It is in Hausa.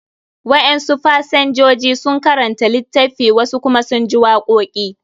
Wa'en su pasenjoji sun karanta litaffi, wasu kuma sun ji waƙoki